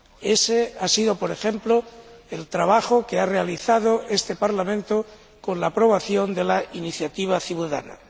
Ése ha sido, por ejemplo, el trabajo que ha realizado este Parlamento con la aprobación de la iniciativa ciudadana.